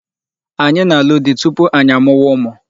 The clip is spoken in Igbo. Anyị na-arụ di tupu anyị amụwa ụmụ.